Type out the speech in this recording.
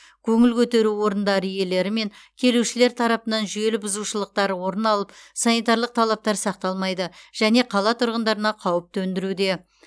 көңіл көтеру орындары иелері мен келушілер тарапынан жүйелі бұзушылықтар орын алып санитарлық талаптар сақталмайды және қала тұрғындарына қауіп төндіруде